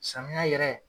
Samiya yɛrɛ